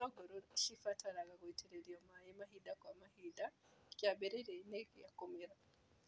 Itũngũrũ nĩcibataraga gũitĩrĩrio maĩ mahinda kwa mahinda kĩambĩrĩrianĩ gia kũmera.